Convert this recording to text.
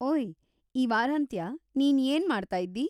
ಓಯ್, ಈ ವಾರಾಂತ್ಯ ನೀನ್‌ ಏನ್‌ ಮಾಡ್ತಾಯಿದ್ದೀ?